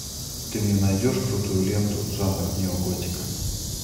ты мне найдешь крутую ленту жанр неоготика